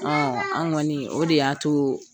an' ŋɔni o de y'a too